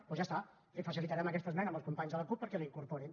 doncs ja està li facilitarem aquesta esmena als companys de la cup perquè la incorporin